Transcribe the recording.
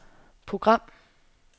program